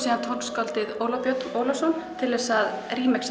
tónskáldið Óla Björn til að